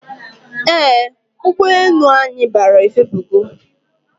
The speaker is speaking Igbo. Eeh, ụgbọ enu anyi bara efepugo